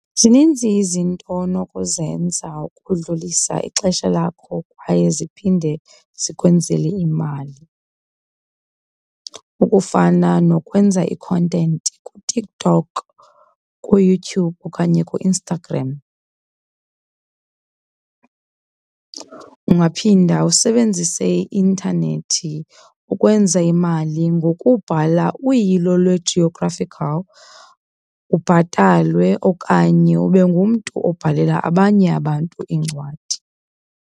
Zininzi izinto onokuzenza ukudlulisa ixesha lakho kwaye ziphinde zikwenzele imali, ukufana nokwenza i-content kuTikTok ku-Youtube okanye ku-Instagram. Ungaphinda usebenzise i-intanethi ukwenza imali ngokubhala uyilo lwe-geographical ubhatalwe okanye ube ngumntu obhalela abanye abantu iincwadi.